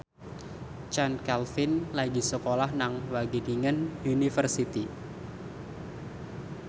Chand Kelvin lagi sekolah nang Wageningen University